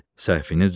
Səhvini düzəldər.